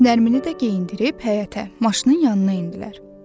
Nərmini də geyindirib həyətə, maşının yanına endilər.